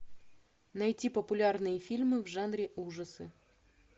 найти популярные фильмы в жанре ужасы